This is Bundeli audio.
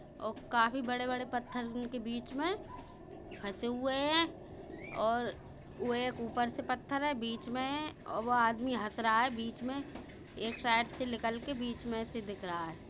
और काफी बड़े बड़े पत्थर उनके बीच मे फंसे हुए हैं और वे एक ऊपर से पत्थर है बीच में है और वो आदमी हस रहा है बीच में एक साइड से निकल के बीच में से दिख रहा है।